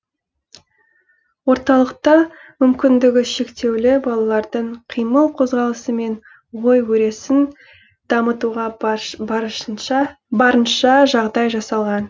орталықта мүмкіндігі шектеулі балалардың қимыл қозғалысы мен ой өресін дамытуға барынша жағдай жасалған